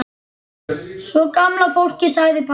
Sko gamla fólkið sagði pabbi.